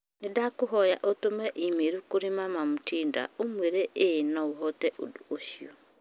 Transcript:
Nĩndakũhoya ũtũme i-mīrū kũrĩ mama Mutinda ũmuĩre ĩĩ no hote ũndũ ũcio